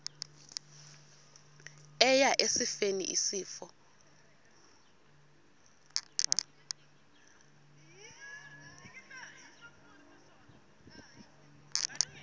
eya esifeni isifo